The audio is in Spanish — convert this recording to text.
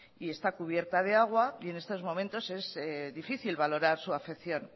y está cubierta de agua y en estos momentos es difícil valorar su afección